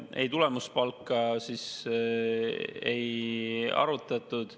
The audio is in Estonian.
Ei, tulemuspalka ei arutatud.